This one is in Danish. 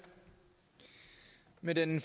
med den